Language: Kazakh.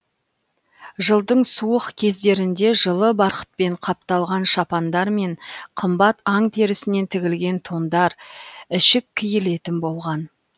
жылдың суық кездерінде жылы барқытпен қапталған шапандар мен қымбат аң терісінен тігілген тондар ішік киілетін болған